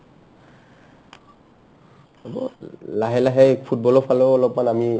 হ'ব লাহে লাহে football ৰ ফালেও অলপমান আমি